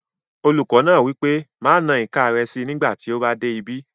Olùkọ́ náà wí pé "má na ìka rẹ síi nígbàtí ó bá dé ibí!"